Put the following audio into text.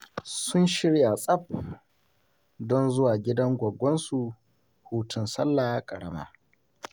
Sun shirya tsaf don zuwa gidan gwaggonsu hutun sallah ƙarama